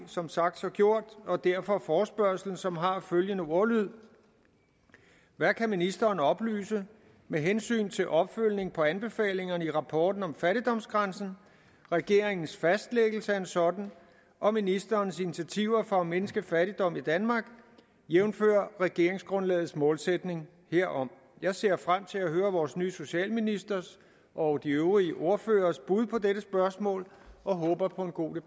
som sagt så gjort og derfor forespørgslen som har følgende ordlyd hvad kan ministeren oplyse med hensyn til opfølgning på anbefalingerne i rapporten om fattigdomsgrænsen regeringens fastlæggelse af en sådan og ministerens initiativer for at mindske fattigdom i danmark jævnfør regeringsgrundlagets målsætning herom jeg ser frem til at høre vores nye socialministers og de øvrige ordføreres bud på dette spørgsmål og håber på en god